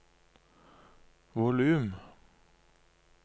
volum